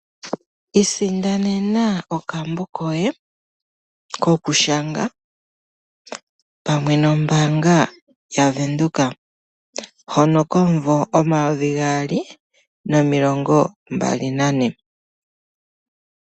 Isindanena okambo koye kokushanga pamwe nombaanga yaVenduka, hono komunvo omayovi gaali nomilongo mbali nane.